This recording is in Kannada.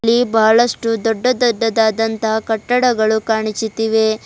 ಈ ಬಹಳಷ್ಟು ದೊಡ್ಡ ದೊಡ್ಡದಾದಂತ ಕಟ್ಟಡಗಳು ಕಾಣಿಸುತ್ತಿವೆ.